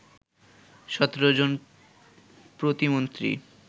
১৭ জন প্রতিমন্ত্রী